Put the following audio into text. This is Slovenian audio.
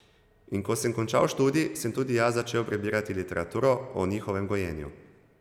In ko sem končal študij, sem tudi jaz začel prebirati literaturo o njihovem gojenju.